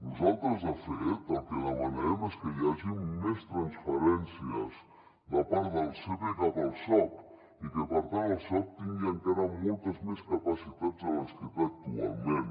nosaltres de fet el que demanem és que hi hagi més transferències de part del sepe cap al soc i que per tant el soc tingui encara moltes més capacitats de les que té actualment